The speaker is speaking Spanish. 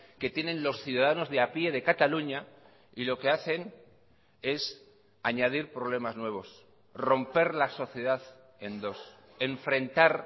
que tienen los ciudadanos de a pie de cataluña y lo que hacen es añadir problemas nuevos romper la sociedad en dos enfrentar